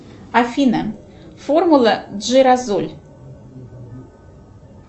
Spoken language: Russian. афина формула джиразоль